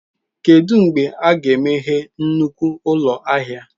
Kedu mgbe a ga-emeghe nnukwu ụlọ ahịa?